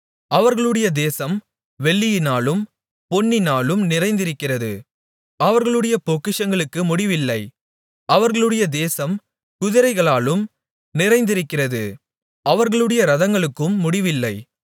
அவர்களுடைய தேசம் வெள்ளியினாலும் பொன்னினாலும் நிறைந்திருக்கிறது அவர்களுடைய பொக்கிஷங்களுக்கு முடிவில்லை அவர்களுடைய தேசம் குதிரைகளாலும் நிறைந்திருக்கிறது அவர்களுடைய இரதங்களுக்கும் முடிவில்லை